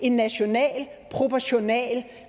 en national og proportional